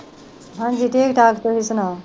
ਹਾਜੀ ਠੀਕ ਠਾਕ ਤੁਸੀਂ ਸੁਣਾਉ